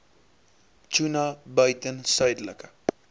tuna buiten suidelike